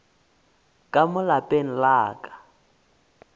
ka mo lapeng la ka